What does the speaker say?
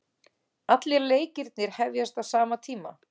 Allir leikirnir hefjast á sama tíma